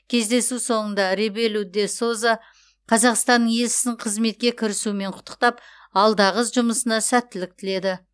кездесу соңында ребелу де соза қазақстанның елшісін қызметке кірісуімен құттықтап алдағы жұмысына сәттілік тіледі